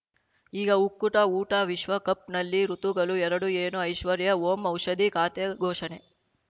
ಈಗ ಉಕ್ಕುಟ ಊಟ ವಿಶ್ವಕಪ್‌ನಲ್ಲಿ ಋತುಗಳು ಎರಡು ಏನು ಐಶ್ವರ್ಯಾ ಓಂ ಔಷಧಿ ಖಾತೆ ಘೋಷಣೆ